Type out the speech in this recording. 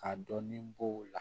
Ka dɔɔnin bɔ o la